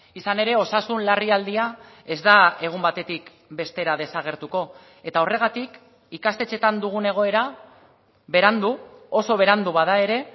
izan ere osasun larrialdia ez da egun batetik bestera desagertuko eta horregatik ikastetxeetan dugun egoera berandu oso berandu bada ere